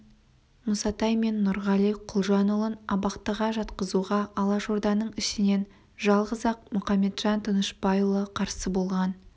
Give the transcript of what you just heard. мұсатай мен нұрғали құлжанұлын абақтыға жатқызуға алашорданың ішінен жалғыз-ақ мұқаметжан тынышпайұлы қарсы болған